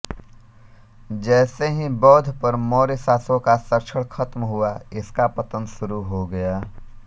जैसे ही बौध्द पर मोर्य शासकों का संरक्षण खत्म हुआ इसका पतन शुरू हो गया